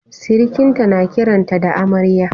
Sirikan ta na kiran ta da Amarya